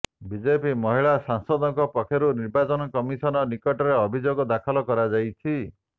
BJP ମହିଳା ସାଂସଦଙ୍କ ପକ୍ଷରୁ ନିର୍ବାଚନ କମିଶନ ନିକଟରେ ଅଭିଯୋଗ ଦାଖଲ କରାଯାଇଛି